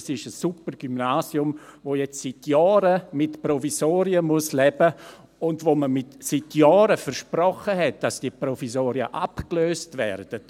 Es ist ein super Gymnasium, das nun schon seit Jahren mit Provisorien leben muss und dem man seit Jahren versprochen hat, dass die Provisorien abgelöst werden.